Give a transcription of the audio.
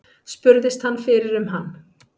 Spurðist hann fyrir um hann.